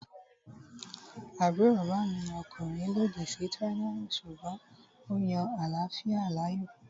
Àbúrò bàbá mi ọkùnrin lòdì sí tíráyánì sùgbọ́n ó yan àláfíà láàyò